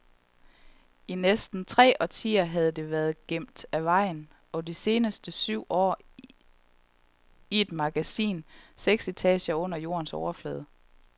I næsten tre årtier havde det været gemt af vejen, og de seneste syv år i et magasin, seks etager under jordens overflade.